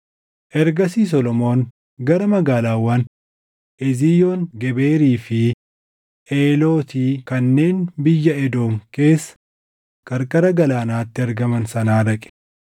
Ergasii Solomoon gara magaalaawwan Eziyoon Geberii fi Eelooti kanneen biyya Edoom keessa qarqara galaanaatti argaman sanaa dhaqe.